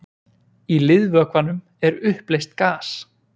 í liðvökvanum er uppleyst gas